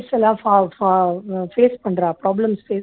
face பண்றா problems face பண்றா